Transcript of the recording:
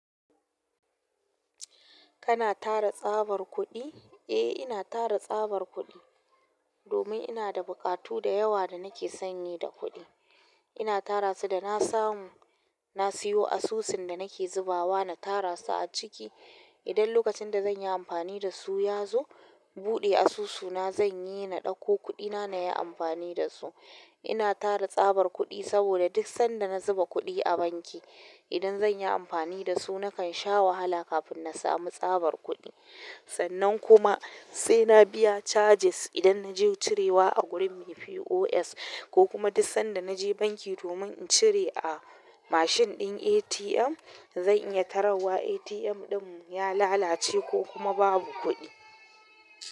Kana tara tsabar kuɗi? Eh ina tara tsabar kuɗi domin ina da buƙatu da yawa da nake sanyi da kuɗi. Ina tara su da na samu na siyo asusun da nake zubawa na tara su aciki idan lokacin da zan yi amfani da su ya zo, buɗe asusuna zan yi na ɗauko kuɗina na yi amfani da su. Ina tara tsabar kuɗi saboda duk sanda na zuba kuɗi a banki indan zanyi amfani da su na kan sha wahala kafin na samu tsabar kuɗi sannan kuma sai na biya charges idan na je cirewa a gurin me POS ko kuma duk sanda na je banki domin in cire a mashin ɗin ATM, zan iya tararwa ATM ɗin ya lalace ko kuma babu kuɗi.